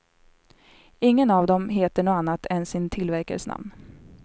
Ingen av dem heter något annat än sin tillverkares namn.